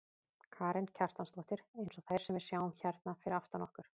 Karen Kjartansdóttir: Eins og þær sem við sjáum hérna fyrir aftan okkur?